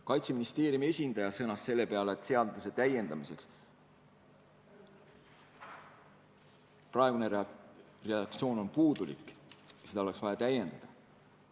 Kaitseministeeriumi esindaja sõnas selle peale, et seaduseelnõu praegune redaktsioon on puudulik ja seda oleks vaja täiendada.